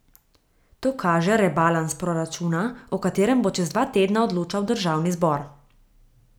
To kaže rebalans proračuna, o katerem bo čez dva tedna odločal državni zbor.